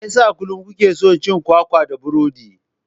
Me yasa kullum kuke cin kwakwa da burodi?